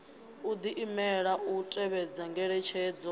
u diimisela u tevhedza ngeletshedzo